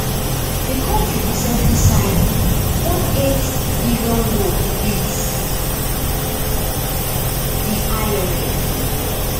di kontri recently sign one eight billion loan wit di imf